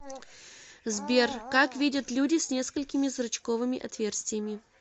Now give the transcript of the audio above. сбер как видят люди с несколькими зрачковыми отверстиями